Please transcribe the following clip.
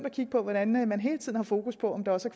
at kigge på hvordan man hele tiden har fokus på om der også